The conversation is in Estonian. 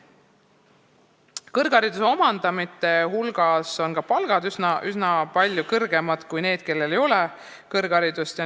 Ka kõrghariduse omandanute palgad on üsna palju kõrgemad kui neil, kellel ei ole kõrgharidust.